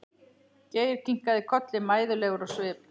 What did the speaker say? Geir kinkaði kolli mæðulegur á svip.